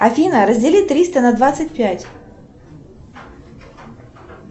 афина раздели триста на двадцать пять